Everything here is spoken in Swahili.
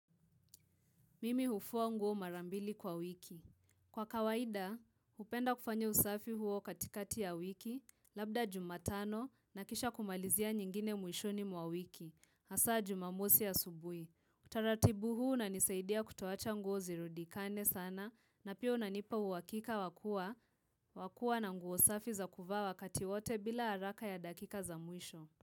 Mimi hufua nguo mara mbili kwa wiki. Kwa kawaida, hupenda kufanya usafi huo katikati ya wiki, labda jumatano na kisha kumalizia nyingine mwishoni mwa wiki, hasaa jumamosi asubui. Utaratibu huu unanisaidia kutoacha nguo zirudikane sana, na pia unanipa uhakika wa kuwa wakuwa na nguo safi za kuvaa wakati wote bila haraka ya dakika za mwisho.